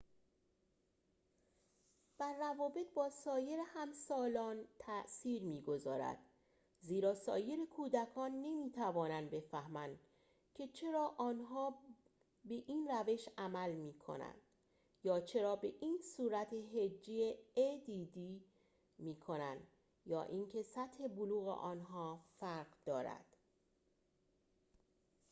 add بر روابط با سایر همسالان تأثیر می‌گذارد زیرا سایر کودکان نمی‌توانند بفهمند که چرا آنها به این روش عمل می‌کند یا چرا به این صورت هجی می‌کنند یا اینکه سطح بلوغ آنها فرق دارد